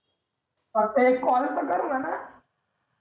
फक्त एक call तर कर म्हणा